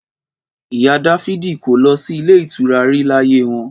Ìyá dafidi kò lọ sí ilé ìtura rí láyé wọn.